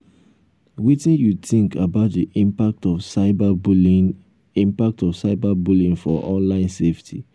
wetin you think about di impact of cyberbullying impact of cyberbullying for online safety?